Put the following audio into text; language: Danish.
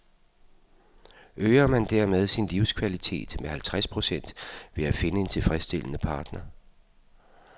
Øger man dermed sin livskvalitet med halvtreds procent ved at finde en tilfredsstillende partner?